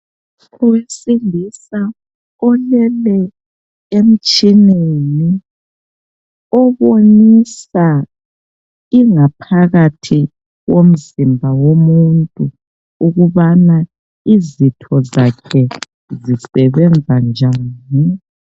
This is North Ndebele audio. Owesilisa olele emtshineni obonisa ingaphakathi yomzimba womuntu ukubana izitho zakhe zisebenza njani.